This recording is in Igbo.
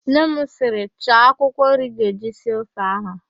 Nne m sịrị, "chaa akwụkwọ nri ị ga-eji sie ofe ahụ"!